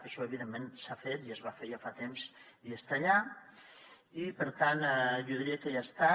això evidentment s’ha fet i es va fer ja fa temps i està allà i per tant jo diria que ja està